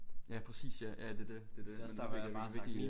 Ja præcis ja ja det dét det dét men nu fik lige virkelig øh